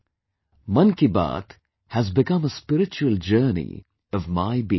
'Mann Ki Baat' has become a spiritual journey of my being